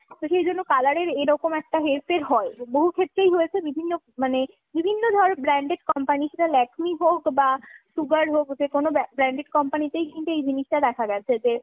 তো সেজন্য colour এর এরকম একটা হেরফের হয়। বহু ক্ষেত্রেই হয়েছে, বিভিন্ন মানে বিভিন্ন ধর branded company সেটা Lakme হোক বা Sugar হোক যেকোনো branded company তেই কিন্তু এই জিনিসটা দেখা গেছে যে